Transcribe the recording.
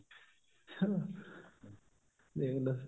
ਦੇਖਲੋ